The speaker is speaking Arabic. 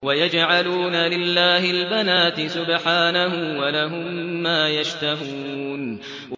وَيَجْعَلُونَ لِلَّهِ الْبَنَاتِ سُبْحَانَهُ ۙ وَلَهُم مَّا يَشْتَهُونَ